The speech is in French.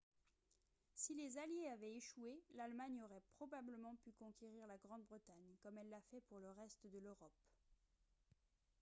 si les alliés avaient échoué l'allemagne aurait probablement pu conquérir la grande-bretagne comme elle l'a fait pour le reste de l'europe